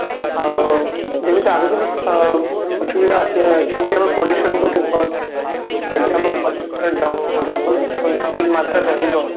ଆଉ ଯେମିତି ଆଗକୁ ବି ଅ ଆସୁବିଧା ଆସିବାର ଅଛି ସେମିତି ଆମର pollution ଗୋଟେ cause ଯଦି ଆମ ପାଖା ପାଖି ଯ ଜଙ୍ଗଲ ଠିକ ମାତ୍ରାରେ ରହିବ